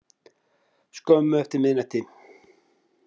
Skömmu eftir miðnætti.